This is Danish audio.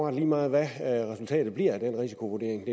er lige meget hvad resultatet bliver af den risikovurdering